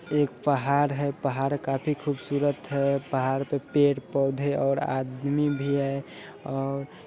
एक पहाड़ है| पहाड़ काफी खुबसुरत है| पहाड़ पर पेड़ पोधे और आदमी भी है और --